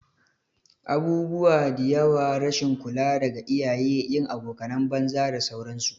Abubuwa diyawa, rashin kula daga iyaye, yin abokanan banza da sauran su